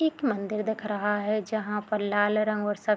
एक मंदिर दिख रहा है जहाँ पर लाल रंग और सफेद --